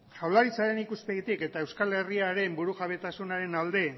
jaurlaritzaren ikuspegitik eta euskal herriaren burujabetasunaren alde